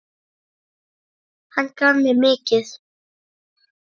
Hann gaf mér mikið.